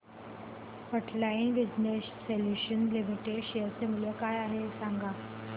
frontline Business Solutions Limited share चे मूल्य काय आहे हे सांगा